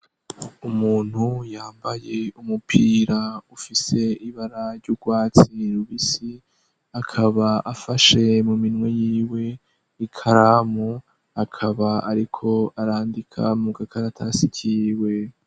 Umuntu yambaye umupira ufise ibara ry'ubwatsi rubisi akaba afashe mu minwe y'iwe ikaramu akaba ariko arandika mu gakaratasi kiwe.